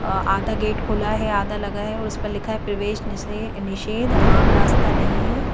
अ आधा गेट खुला है आधा लगा है और उस पर लिखा है प्रवेश निषरे निषेध आम रास्ता नहीं है।